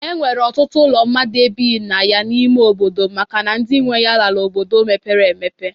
E nwere ọtụtụ ụlọ mmadụ ebighi na ya n'ime obodo m makana ndị nwe ya lara obodo mepere emepe.